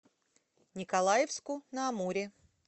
николаевску на амуре